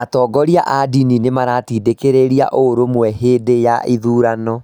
Atongoria a ndini nĩ maratindĩkĩrĩria ũrũmwe hĩndĩ ya gĩthurano.